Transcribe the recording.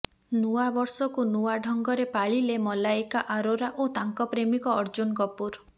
ନୂଆ ବର୍ଷକୁ ନୂଆ ଢଙ୍ଗରେ ପାଳିଲେ ମଲାଇକା ଆରୋରା ଓ ତାଙ୍କ ପ୍ରେମିକ ଅର୍ଜୁନ କପୁର